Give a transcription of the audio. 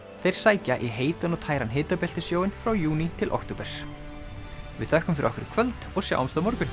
þeir sækja í heitan og tæran frá júní til október við þökkum fyrir okkur í kvöld og sjáumst á morgun